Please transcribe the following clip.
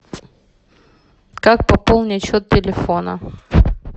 как пополнить счет телефона